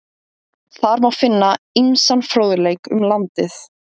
Þar má finna ýmsan fróðleik um landið.